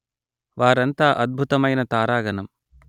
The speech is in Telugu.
వారంతా అద్భుతమైన తారాగణం